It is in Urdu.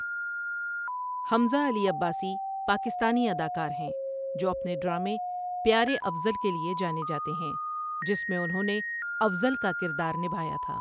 حمزہ علی عباسی پاکستانی اداکار ہیں جو اپنے ڈرامے پیارے افضل کے لیے جانے جاتے ہیں جِس میں انہوں نے افضل کا کِردار نبھایا تھا۔